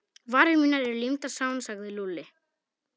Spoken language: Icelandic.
Varir mínar eru límdar saman sagði Lúlli.